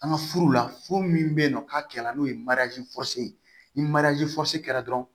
An ka furu la furu min bɛ yen nɔ n'a kɛla n'o ye ye ni kɛra dɔrɔn